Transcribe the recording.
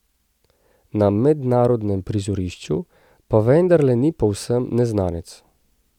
Na mednarodnem prizorišču pa vendarle ni povsem neznanec.